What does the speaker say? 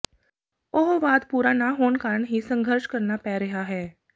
ਉਹ ਵਾਅਦ ਪੂਰਾ ਨਾ ਹੋਣ ਕਾਰਨ ਹੀ ਸੰਘਰਸ਼ ਕਰਨਾ ਪੈ ਰਿਹਾ ਹੈ